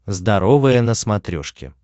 здоровое на смотрешке